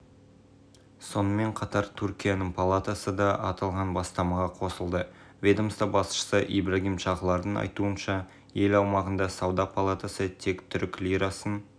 президент ердоған бұдан сәл ертерек ел азаматтарын тек түрік лирасымен ғана жұмыс істеп артық ақшаны да өз валюталарында сақтауға шақырған